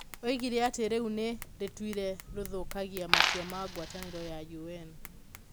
Oigire atĩ itua rĩu nĩ rĩtũire rĩthũkagia matua ma ngwatanĩro ya UN.